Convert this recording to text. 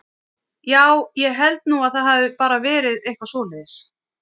Já, ég held nú að það hafi bara verið eitthvað svoleiðis.